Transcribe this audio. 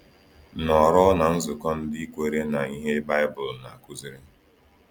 Nọọrọ ná nzukọ ndị kwere na ihe Baịbụl na-akụziri